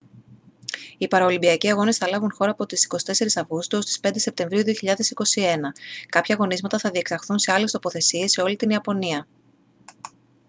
οι παραολυμπιακοί αγώνες θα λάβουν χώρα από τις 24 αυγούστου ως τις 5 σεπτεμβρίου 2021 κάποια αγωνίσματα θα διεξαχθούν σε άλλες τοποθεσίες σε όλη την ιαπωνία